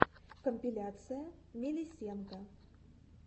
компиляция мелисенка